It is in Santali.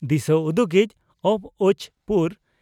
ᱫᱤᱥᱟᱹ ᱩᱫᱩᱜᱤᱡ ᱵᱹᱪᱹ ᱯᱩᱨ